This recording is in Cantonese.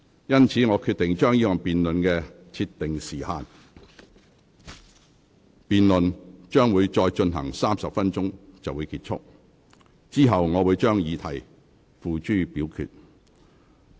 因此，我決定就這項辯論設定時限，辯論將會再進行30分鐘便結束，之後我會將議題付諸表決。